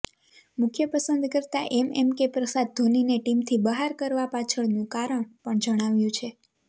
મુખ્ય પસંદકર્તા એમએમકે પ્રસાદ ધોનીને ટીમથી બહાર કરવા પાછળનું કારણ પણ જણાવ્યું છે